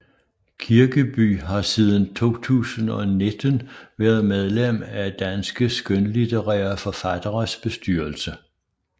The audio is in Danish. Kirkeby har siden 2019 været medlem af Danske skønlitterære Forfatteres bestyrelse